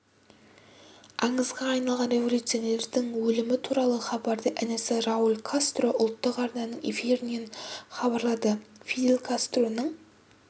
аңызға айналған революционердің өлімі туралы хабарды інісі рауль кастро ұлттық арнаның эфирінен хабарлады фидель кастроның